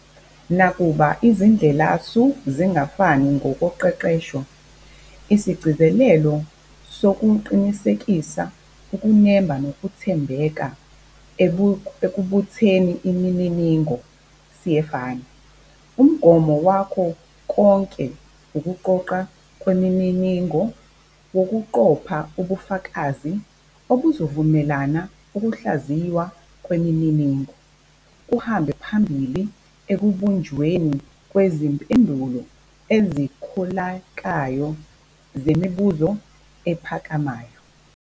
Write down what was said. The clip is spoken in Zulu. Nakuba izindlelasu zingafani ngokoqeqesho, isigcizelelo sokuqinisekisa ukunemba nokwethembeka ekubutheni imininingo siyefana. Umgomo wakho konke ukuqoqwa kwemininingo kuwukuqopha ubufakazi obuzovumela ukuhlaziywa kwemininingo kuhambe phambili ekubunjweni kwezimpendulo ezikholekayo zemibuzo ephakamayo.